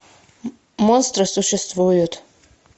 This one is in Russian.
монстры существуют